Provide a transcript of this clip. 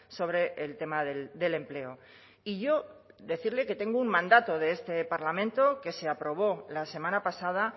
sobre el tema del empleo y yo decirle que tengo un mandato de este parlamento que se aprobó la semana pasada